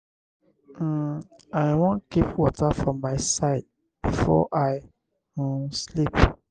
um i wan keep water for my side before i um sleep.